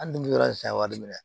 Hali n'i bɛ yɔrɔ in san wari minɛ